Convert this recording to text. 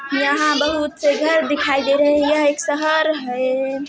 यहाँ बहुत से घर दिखाई दे रहे है यह एक शहर है।